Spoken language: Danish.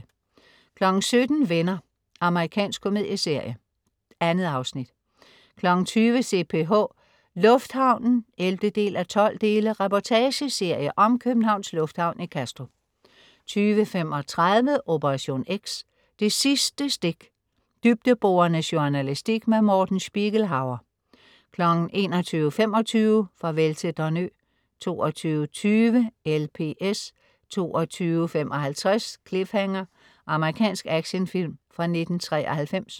17.00 Venner. Amerikansk komedieserie. 2 afsnit 20.00 CPH. Lufthavnen 11:12. Reportageserie om Københavns Lufthavn i Kastrup 20.35 Operation X: Det sidste stik. Dybdeborende journalistik. Morten Spiegelhauer 21.25 Farvel til Don Ø 22.20 LPS 22.55 Cliffhanger. Amerikansk actionfilm fra 1993